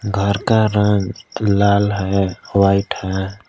घर का रंग लाल है व्हाइट है।